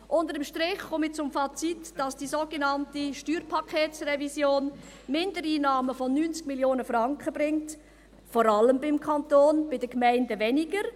Unter dem Strich komme ich zum Fazit, dass die sogenannte Steuerpaketsrevision Mindereinnahmen von 90 Mio. Franken bringt, vor allem beim Kanton, bei den Gemeinden ist es weniger.